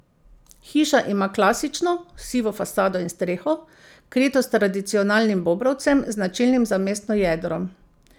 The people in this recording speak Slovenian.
Hiša ima klasično, sivo fasado in streho, krito s tradicionalnim bobrovcem, značilnim za mestno jedro.